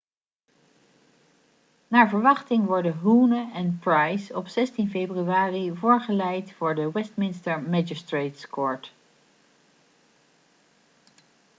naar verwachting worden huhne en pryce op 16 februari voorgeleid voor de westminster magistrates court